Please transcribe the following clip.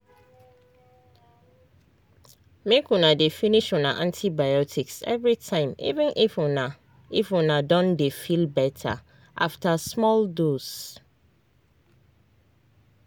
make una dey finish una antibiotics everytime even if una if una don dey feel better after small dose